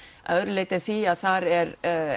að öðru leyti en því að það er